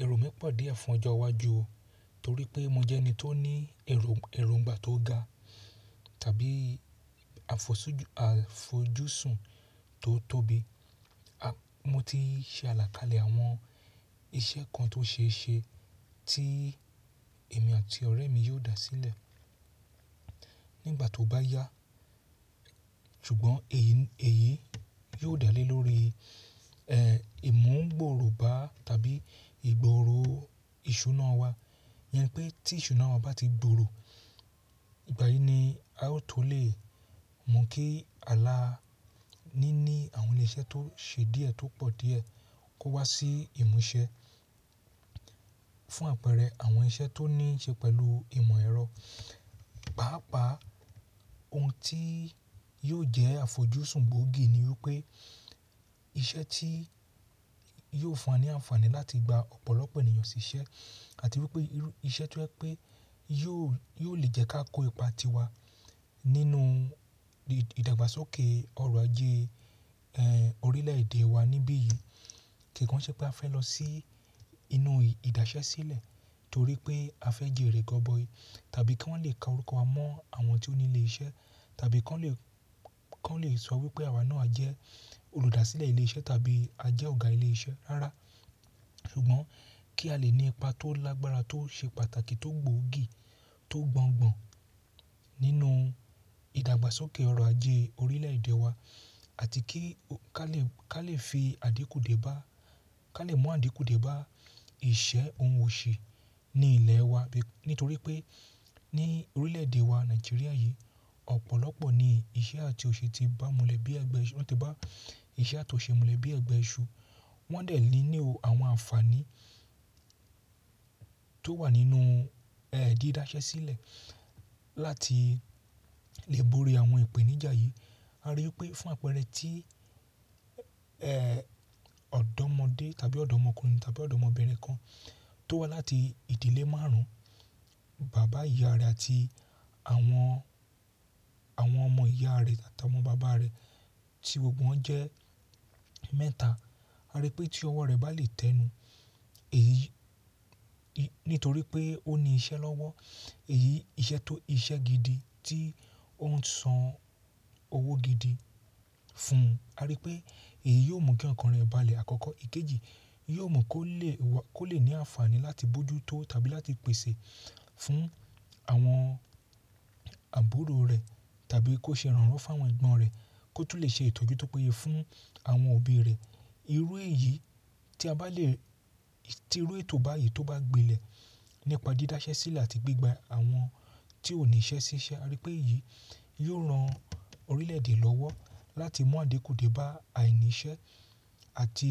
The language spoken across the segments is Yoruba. Ẹ̀rò mi pọ̀ díẹ̀ fún ọjọ́ iwájú o, torí pé mo jẹ́ ẹni tó ní ẹ̀rò, ẹ̀ròǹgbà tó ga tàbí àfọsújù, àfojúsùn tó tóbi. A-- mo ti ṣe àlàkalẹ̀ àwọn iṣẹ́ kan tó ṣeé ṣe tí èmi àti ọ̀rẹ́ mi yóò dá sílẹ̀ nígbà tó bá yá. Ṣùgbọ́n èyí, èyí yóò dálé lórí, ẹ́, ìmúgbòòrò bá tàbí ìgbòòrò ìṣúná wa. Ìyẹn ni pé tí ìṣúná wa bá ti gbòòrò, ìgbà yìí ni aó tó lè mú kí àlà níní àwọn ilé iṣẹ́ tó ṣe díẹ̀ tó pọ̀ díẹ̀ kó wá sí ìmúṣẹ. Fún àpẹẹrẹ, àwọn iṣẹ́ tó ní í ṣe pẹ̀lú ìmọ̀ ẹ̀rọ. Páápàá ohun tí yóò jẹ́ àfojúsùn gbóògì ni wípé iṣẹ́ tí yóò fúnwa ní àǹfààní láti gba ọ̀pọ̀lọpọ̀ ènìyàn sí iṣẹ́ àti wípé irú iṣẹ́ tó jẹ́ pé yóò, yóò lè jẹ́ ká kó ipa tiwa nínú ìdàgbàsókè ọrọ̀ ajé, ẹ́, orílẹ̀èdè wa níbí yìí. Kìkan ṣé pé a fẹ́ lọ sí inú ìdásẹ́ sílẹ̀ torí pé a fẹ́ jèrè gọ́bọyì tàbí kí wọ́n lè ka orúkọ wa mọ́ àwọn tí ó ní ilé iṣẹ́ tàbí kí wọ́n lè, kí wọ́n lè sọ wípé àwa náà jẹ́ olùdásílẹ̀ ilé iṣẹ́ tàbí a jẹ́ ọ̀gá ilé iṣẹ́. Rárá, ṣùgbọ́n kí a lè ní ipa tó lágbára tó ṣe pàtàkì tó gbòògì tó gbọngbọ̀n nínú ìdàgbàsókè ọrọ̀ ajé orílẹ̀èdè wa àti kí ká lè, ká lè fi àdínkù dèbá, ká lè mú àdínkù dèbá ìṣe ohun òṣì ni ilẹ̀ wa. Nítorí pé ní orílẹ̀èdè wa Nàìjíríà yìí, ọ̀pọ̀lọpọ̀ ni iṣẹ́ àti òṣì ti ba mulẹ̀ bí ẹgbẹ́ iṣu, wọ́n ti bá iṣẹ́ àti òṣì mulẹ̀ bí ẹgbẹ́ iṣu. Wọ́n dè nílò àwọn àǹfààní tó wà nínú, ẹ́, dídásẹ́ sílẹ̀ láti lè borí àwọn ìpèníjà yìí. A rí i pé fún àpẹẹrẹ tí, ẹ́, ọ̀dọ́mọdé tàbí ọ̀dọ́mọkùnrin tàbí ọ̀dọ́mọbìnrin kan tó wá láti ìdílé márùn-ún, bàbá, ìyá rẹ̀ àti àwọn, àwọn ọmọ ìyá rẹ̀ àti àwọn bàbá rẹ̀ tí gbogbo wọn jẹ́ mẹ́ta. A rí i pé tí ọwọ́ rẹ̀ bá lè tẹnu, èyí, nítorí pé ó ní iṣẹ́ lọ́wọ́, èyí iṣẹ́ tó iṣẹ́ gidi tí ó ń san owó gidi fún un. A rí i pé èyí yóò mú kí ọkàn rẹ̀ balẹ̀ àkọ́kọ́. Ìkejì, yóò mú kó lè wá, kó lè ní àǹfààní láti bójú tó tàbí láti pèsè fún àwọn àbúrò rẹ̀ tàbí kó ṣe ìrànwọ́ fún àwọn ẹ̀gbọ́n rẹ̀, kó tún lè ṣe ìtọ́jú tó péye fún àwọn òbí rẹ̀. Irú èyí tí a bá lè, tí irú ètò báyìí tó bá gbilẹ̀ nípa dídásẹ́ sílẹ̀ àti gbígba àwọn tí ò ní iṣẹ́ sí iṣẹ́. A rí i pé èyí yóò ran orílẹ̀èdè lọ́wọ́ láti mú àdínkù dèbá àìníṣẹ́ àti,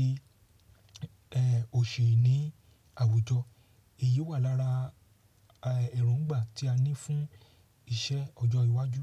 ẹ́, òṣì ní àwùjọ. Èyí wà lára, ẹ́, ẹ̀rùǹgbà tí a ní fún iṣẹ́ ọjọ́ iwájú.